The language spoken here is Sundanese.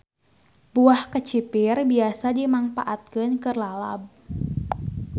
Buah kecipir biasa dimangpaatkeun keur lalab.